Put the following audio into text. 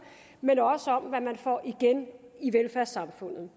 men også om hvad man får igen i velfærdssamfundet